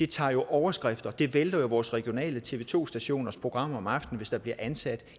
tager overskrifter det vælter vores regionale tv to stationers program om aftenen hvis der bliver ansat